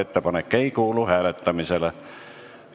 Ettepanek ei kuulu hääletamisele.